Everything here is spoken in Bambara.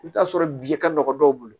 I bɛ t'a sɔrɔ bi ka nɔgɔn dɔw bolo